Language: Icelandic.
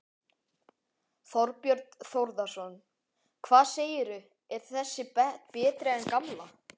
Þorbjörn Þórðarson: Hvað segirðu, er þessi betri en gamla?